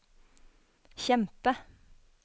kjempe